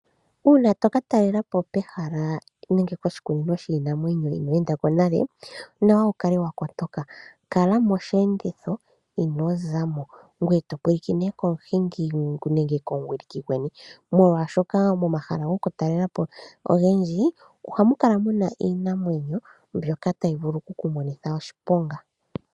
Uuna toka talelapo pehala nenge koshikunino shiinamwenyo inweendako nale, onawa wu kale wa kotoka, kala mosheenditho inozamo ngoye to pwilikine komuhingi nenge komuwiliki gweni molwaashoka momahala gokutalelapo ogendji ohamukala mu na iinamwenyo mbyoka tayi vulu okukumonitha oshiponga.